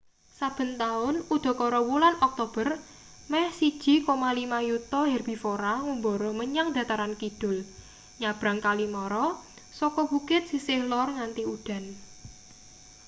saben taun udakara wulan oktober meh 1,5 yuta herbivora ngumbara menyang dataran kidul nyabrang kali mara saka bukit sisih lor nganti udan